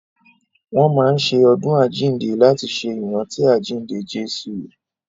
Wọ́n máa n ṣe ọdún àjínde láti ṣe ìrántí àjínde Jésù